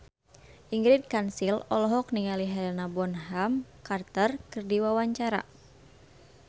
Ingrid Kansil olohok ningali Helena Bonham Carter keur diwawancara